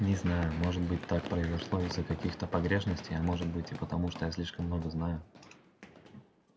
не знаю может быть так произошло из-за каких-то погрешностей а может быть и потому что я слишком много знаю